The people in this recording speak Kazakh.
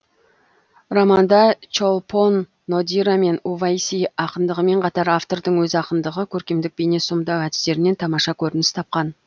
романда чолпон нодира мен увайси ақындығымен қатар автордың өз ақындығы көркемдік бейне сомдау әдістерінен тамаша көрініс тапқан